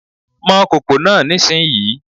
Mọ kòkò náà nísìnyí!